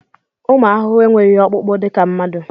Ụmụ ahụhụ enweghị ọkpụkpụ dịka mmadụ.